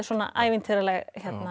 ævintýraleg